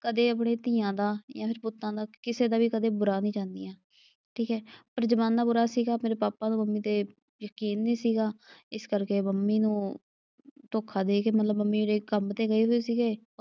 ਕਦੇ ਆਪਣੇ ਧੀਆਂ ਦਾ ਜਾਂ ਫਿਰ ਪੁੱਤਾਂ ਦਾ ਕਿਸੇ ਦਾ ਵੀ ਕਦੇ ਬੁਰਾ ਨਈਂ ਚਾਹੁੰਦੀਆਂ, ਠੀਕ ਏ। ਪਰ ਜ਼ਮਾਨਾ ਬੁਰਾ ਸੀਗਾ ਮੇਰੇ ਪਾਪਾ ਨੂੰ ਮੰਮੀ ਤੇ ਯਕੀਨ ਨਈਂ ਸੀਗਾ। ਇਸ ਕਰਕੇ ਮੰਮੀ ਨੂੰ ਧੋਖਾ ਦੇ ਗਏ। ਮਤਲਬ ਮੰਮੀ ਮੇਰੇ ਕੰਮ ਤੇ ਗਏ ਹੋਏ ਸੀਗੇ।